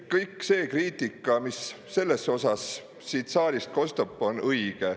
Kõik see kriitika, mis selles osas siit saalist kostab, on õige.